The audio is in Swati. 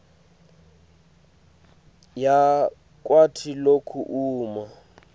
yakwati loku uma